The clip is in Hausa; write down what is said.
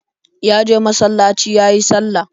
Ya je masalaci yayi sallah.